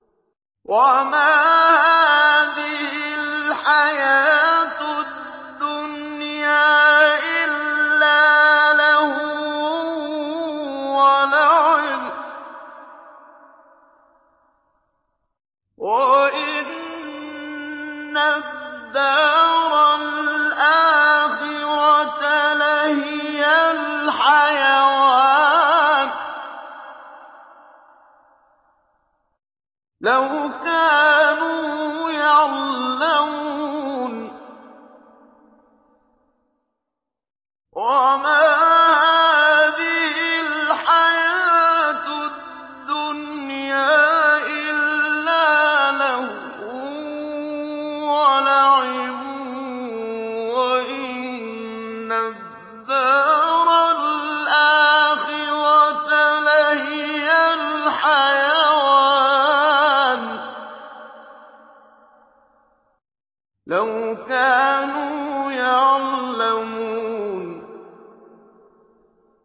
وَمَا هَٰذِهِ الْحَيَاةُ الدُّنْيَا إِلَّا لَهْوٌ وَلَعِبٌ ۚ وَإِنَّ الدَّارَ الْآخِرَةَ لَهِيَ الْحَيَوَانُ ۚ لَوْ كَانُوا يَعْلَمُونَ